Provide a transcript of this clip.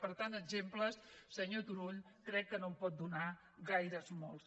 per tant exemples senyor turull crec que no en pot donar ni gaires ni molts